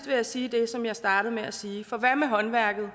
vil jeg sige det som jeg startede med at sige for hvad med håndværket